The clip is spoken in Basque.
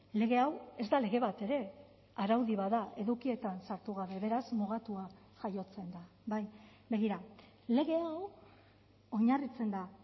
lege hau ez da lege bat ere araudi bat da edukietan sartu gabe beraz mugatua jaiotzen da bai begira lege hau oinarritzen da